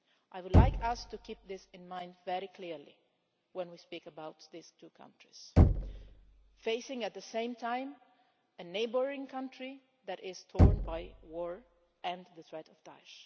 I would like us to keep this in mind, very clearly, when we speak about these two countries, facing at the same time a neighbouring country that is torn by war and the threat of Daesh.